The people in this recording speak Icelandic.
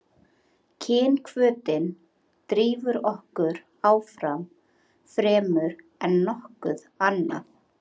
kynhvötin drífur okkur áfram fremur en nokkuð annað